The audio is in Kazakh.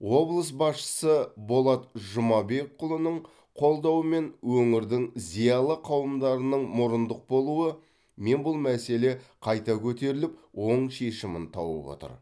облыс басшысы болат жұмабекұлының қолдауымен өңірдің зиялы қауымдарының мұрындық болуы мен бұл мәселе қайта көтеріліп оң шешімін тауып отыр